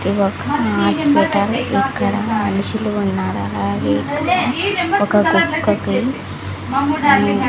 ఇదొక హాస్పిటల్ ఇక్కడ మనుషులు ఉన్నారు అలాగే ఇక్కడ ఒక కుక్కకి ఆ --